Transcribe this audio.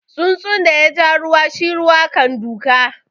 Tsuntsun da ya ja ruwa shi ruwa kan doka.